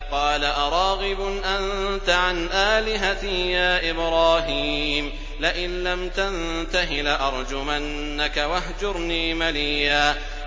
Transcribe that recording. قَالَ أَرَاغِبٌ أَنتَ عَنْ آلِهَتِي يَا إِبْرَاهِيمُ ۖ لَئِن لَّمْ تَنتَهِ لَأَرْجُمَنَّكَ ۖ وَاهْجُرْنِي مَلِيًّا